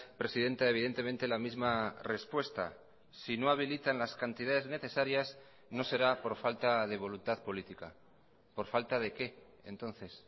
presidenta evidentemente la misma respuesta si no habilitan las cantidades necesarias no será por falta de voluntad política por falta de qué entonces